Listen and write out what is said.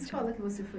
Que escola que você foi